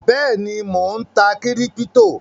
Bẹ́èni, Mó ń tá kíríptò